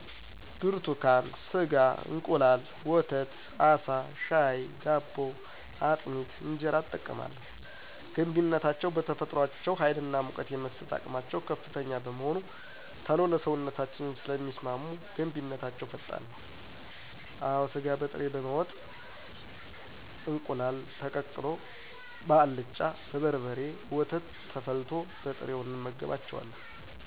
ብርቱካን, ስጋ፣ እንቁላል፣ ወተት፣ አሳ፣ ሻይ፣ ዳቦ፣ አጥሚት፣ እንጀራ እጠቀማለሁ, ገንቢነታቸዉ በተፈጥሮአቸዉ ሀይልና ሙቀት የመስጠት አቅማቸዉ ከፍተኛ በመሆኑ ቶሎ ለሰዉነታችን ስለሚስማሙ ገንቢነታቸዉ ፈጣን ነዉ። አወ ስጋ በጥሬ በወጥ፣ እንቁላል ተቀቅሎ፣ በአልጫ፣ በበርበሬ፣ ወተት ተፈልቶ፣ በጥሬዉ እንመገባቸዋለን።